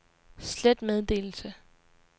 slet meddelelse